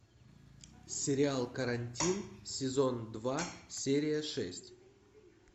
сериал карантин сезон два серия шесть